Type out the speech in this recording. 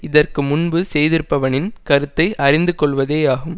இதற்கு முன்பு செய்திருப்பவனின் கருத்தை அறிந்து கொள்வதேயாகும்